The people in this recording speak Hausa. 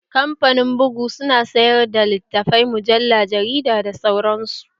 Kamfanin bugu su na sayar da littafai, mujalla, jarida da sauran su